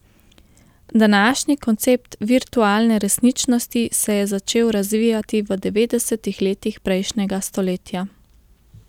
Današnji koncept virtualne resničnosti se je začel razvijati v devetdesetih letih prejšnjega stoletja.